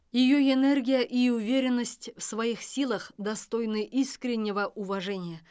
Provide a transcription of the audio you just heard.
ее энергия и уверенность в своих силах достойны искреннего уважения